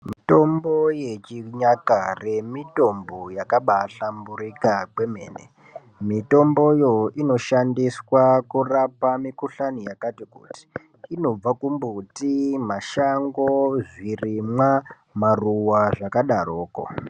Mitombo yechinyakare inobahlamburika kwemene mitomboyo inoshandiswa kurapa mikuhlani yakati kuti inobva mbuti mashango ezvirimwa maruwa zvakadaroko.